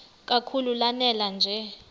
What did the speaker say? kakhulu lanela nje